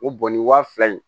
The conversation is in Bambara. O bɔn nin wa fila in